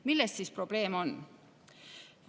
Milles siis probleem on?